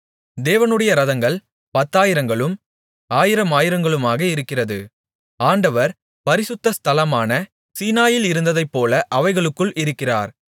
தேவனுடைய இரதங்கள் பத்தாயிரங்களும் ஆயிரமாயிரங்களுமாக இருக்கிறது ஆண்டவர் பரிசுத்த ஸ்தலமான சீனாயிலிருந்ததைபோல அவைகளுக்குள் இருக்கிறார்